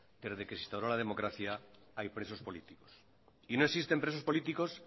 desde que se instauro la democracia hay presos políticos y no existen presos políticos